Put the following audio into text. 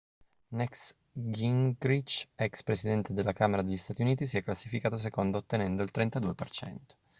newt gingrinch ex presidente della camera degli stati uniti si è classificato secondo ottenendo il 32%